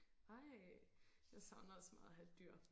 ej jeg savner også så meget at have et dyr